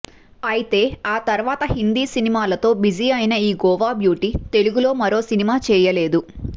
అయితే ఆ తర్వాత హిందీ సినిమాలతో బిజీ అయిన ఈ గోవా బ్యూటీ తెలుగులో మరో సినిమా చేయలేదు